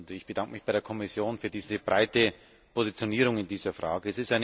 Ich bedanke mich bei der Kommission für diese breite Positionierung in dieser Frage.